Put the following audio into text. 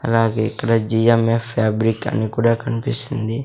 అలాగే ఇక్కడ GMF fabric అని కూడా కనిపిస్తుంది.